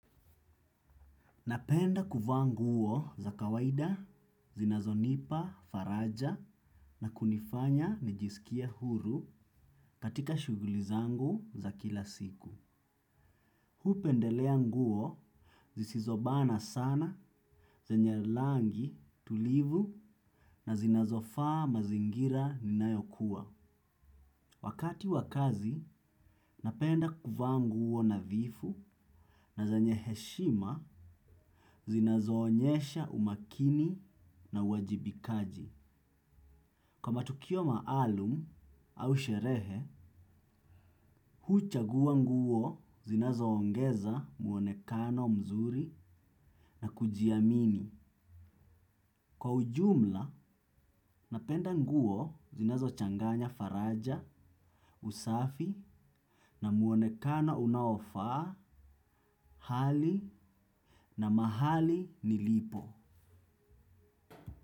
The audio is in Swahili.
Napenda kuvaa nguo za kawaida, zinazonipa, faraja na kunifanya nijisikie huru katika shugulizangu za kila siku. Hupendelea nguo, zisizobana sana, zenye langi, tulivu na zinazofas mazingira ninayokuwa. Wakati wakazi, napenda kuvaa nguo nadhifu na zenye heshima zinazo onyesha umakini na uwajibikaji. Kwa matukio maalum au sherehe, huu chagua nguo zinazo ongeza muonekano mzuri na kujiamini. Kwa ujumla, napenda nguo zinazo changanya faraja, usafi na muonekano unaofaa, hali na mahali nilipo.